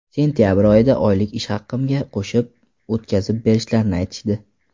Sentabr oyida oylik ish haqimga qo‘shib o‘tkazib berishlarini aytishdi.